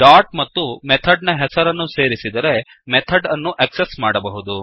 dot ಮತ್ತು method ನ ಹೆಸರನ್ನು ಸೇರಿಸಿದರೆ ಮೆಥಡ್ ಅನ್ನು ಆಕ್ಸೆಸ್ ಮಾಡಬಹುದು